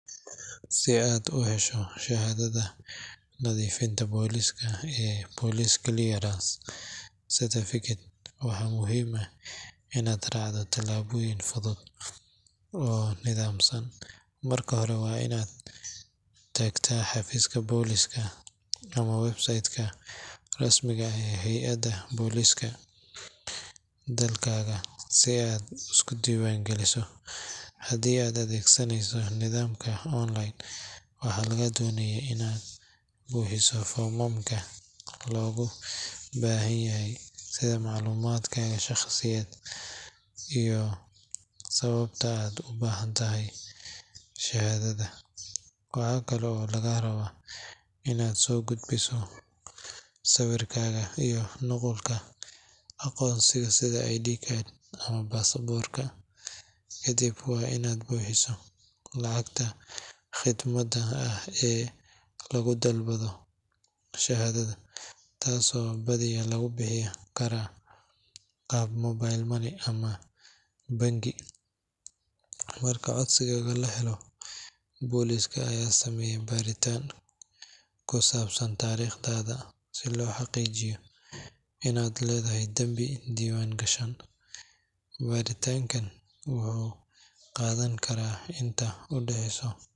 Si aad u hesho shahaadada nadiifinta booliska ee Police Clearance Certificate, waxaa muhiim ah inaad raacdo talaabooyin fudud oo nidaamsan. Marka hore, waa in aad tagtaa xafiiska booliska ama website-ka rasmiga ah ee hay’adda booliska dalkaaga si aad isu diiwaangeliso. Haddii aad adeegsanayso nidaamka online, waxaa lagaa doonayaa inaad buuxiso foomamka looga baahan yahay, sida macluumaadkaaga shaqsiyadeed iyo sababta aad u baahan tahay shahaadada. Waxa kale oo lagaa rabaa inaad soo gudbiso sawirkaaga iyo nuqulka aqoonsigaaga sida ID card ama baasaboorka. Kadib, waa inaad bixisaa lacagta khidmadda ah ee lagu dalbado shahaadada, taasoo badiyaa lagu bixin karaa qaab mobile money ama bangi. Marka codsigaaga la helo, booliska ayaa sameeya baaritaan ku saabsan taariikhdaada si loo xaqiijiyo in aadan lahayn dambi diiwaangashan. Baaritaankan wuxuu qaadan karaa inta u dhexeysa.